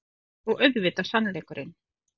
Og auðvitað sannleikurinn.